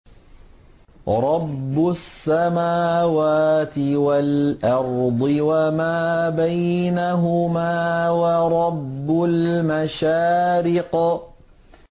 رَّبُّ السَّمَاوَاتِ وَالْأَرْضِ وَمَا بَيْنَهُمَا وَرَبُّ الْمَشَارِقِ